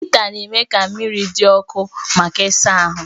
Hịta na-eme ka mmiri dị ọkụ maka ịsa ahụ